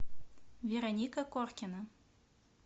вероника коркина